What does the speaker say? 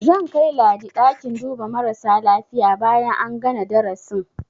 Zan kai Ladi ɗakin duba marasa lafiya bayan an gana darasin.